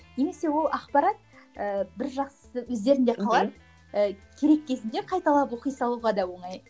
немесе ол ақпарат ыыы бір жақсысы өздерінде қалады мхм ыыы керек кезінде қайталап оқи салуға да оңай